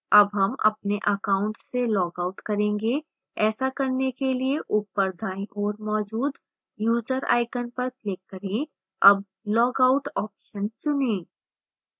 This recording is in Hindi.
अब हम अपने account से लॉगआउट करेंगे ऐसा करने के लिए ऊपर दाईं ओर मौजूद user icon पर click करें अब log out ऑप्शन चुनें